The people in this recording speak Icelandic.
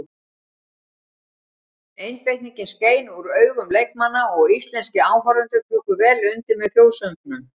Einbeitingin skein úr augun leikmanna og íslenskir áhorfendur tóku vel undir með þjóðsöngnum.